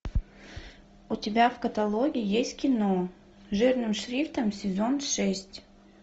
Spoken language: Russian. у тебя в каталоге есть кино жирным шрифтом сезон шесть